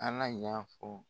An na ɲafɔ